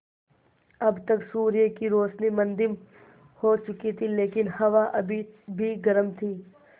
अब तक सूर्य की रोशनी मद्धिम हो चुकी थी लेकिन हवा अभी भी गर्म थी